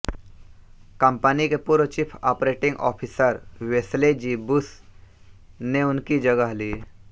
company के पूर्व chief operating officer Wesley G Bush ने उनकी जगह ली